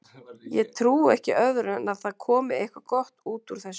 Ég trúi ekki öðru en að það komi eitthvað gott út úr þessu.